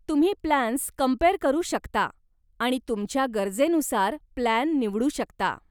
तुम्ही plans compare करू शकता आणि तुमच्या गरजेनुसार प्लान निवडू शकता.